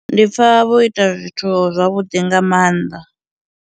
Ndi pfha vho ita zwithu zwavhuḓi nga maanḓa.